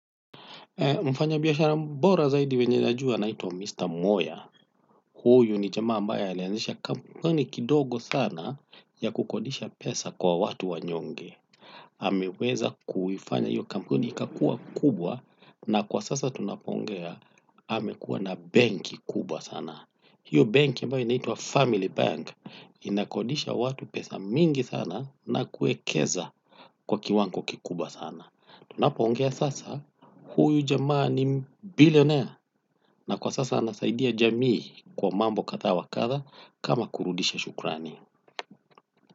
Mfanya biashara bora zaidi mwenye najua anaitwa Mr. Moya. Huyu ni jamaa ambaye alianzisha kampuni kidogo sana ya kukodisha pesa kwa watu wanyonge. Ameweza kuifanya hiyo kampuni ikakua kubwa na kwa sasa tunapoongea amekua na benki kubwa sana. Hiyo benki ambayo inaitwa Family Bank inakodisha watu pesa nyingi sana na kuwekeza kwa kiwango kikubwa sana. Tunapoongea sasa, huyu jamaa ni bilionea na kwa sasa anasaidia jamii kwa mambo kadha wa kadha kama kurudisha shukrani.